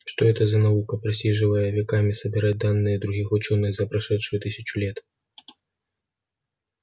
что это за наука просиживая веками собирать данные других учёных за прошедшую тысячу лет